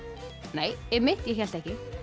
nei einmitt ég hélt ekki